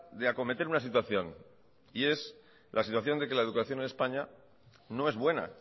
de acometer una situación y es la situación de que la educación en españa no es buena